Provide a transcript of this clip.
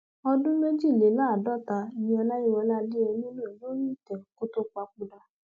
ọdún méjìléláàádọta ni ọlàyíwọlá adéyẹmi lò lórí ìtẹ kó tóó papòdà